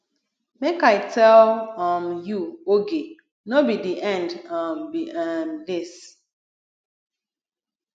make i tell um you oge no be the end um be um dis